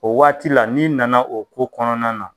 O waati la n'i nana o ko kɔnɔna na